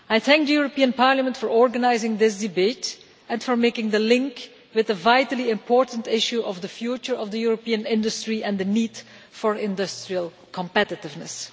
I thank the European Parliament for organising this debate and for making the link with the vitally important issue of the future of the European industry and the need for industrial competitiveness.